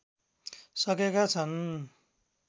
सकेका छन्